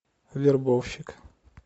вербовщик